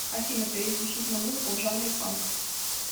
афина переключить на музыку в жанре панк